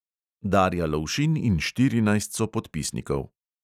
Darja lovšin in štirinajst sopodpisnikov.